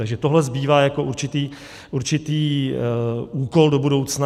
Takže tohle zbývá jako určitý úkol do budoucna.